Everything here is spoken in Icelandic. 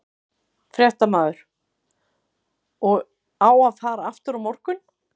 Fréttamaður: Og á að fara aftur á morgun?